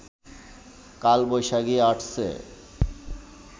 কালবৈশাখী আসছে